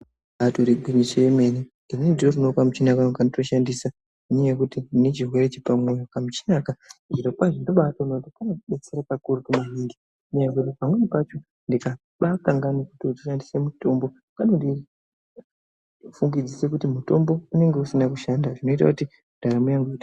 Ibaitori gwinyiso remene ini nditiriwo nekamuchina kanguwo kandoshandisa nenyaya yekuti ndine chirwere chepamoyo kamuchina aka zviro kwazvo ndinomaona kuti kanomabatsira maningi ndikaba kangwana kushandisa mutombo kano ndifungidzisa kuti mutombo unonga usina kushanda zvinoita kuti ndaramo yangu ive......